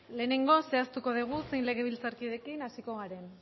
lehenengo zehaztuko dugu zer legebiltzarkiderekin hasiko garen